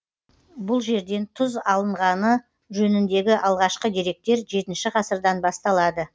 бұл жерден тұз алынғаны жөніндегі алғашқы деректер жетінші ғасырдан басталады